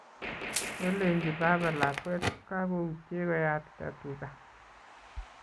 Kolenji baba lakwet kagoutye koyatita tuga